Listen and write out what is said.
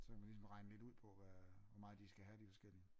Så kan man ligesom regne lidt ud på hvad øh hvor meget de skal have de forskellige